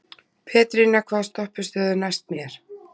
Pétrína, hvaða stoppistöð er næst mér?